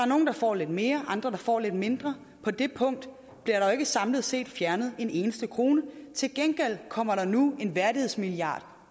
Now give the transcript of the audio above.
nogle der får lidt mere og andre der får lidt mindre på det punkt bliver der ikke samlet set fjernet en eneste krone til gengæld kommer der nu en værdighedsmilliard